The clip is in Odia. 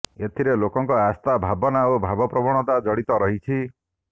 ଏଥିରେ ଲୋକଙ୍କ ଆସ୍ଥା ଭାବନା ଓ ଭାବପ୍ରବଣତା ଜଡ଼ିତ ରହିଛି